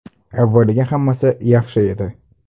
Avvaliga hammasi yaxshi edi.